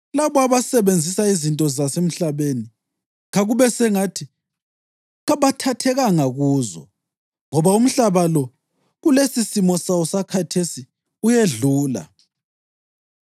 labo abasebenzisa izinto zasemhlabeni, kube sengathi kabathathekanga kuzo. Ngoba umhlaba lo kulesisimo sawo sakhathesi uyedlula.